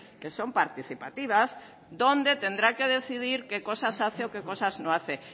que son participativas donde tendrá que decidir qué cosas hace o qué cosas no hace